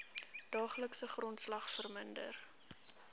daaglikse grondslag verminder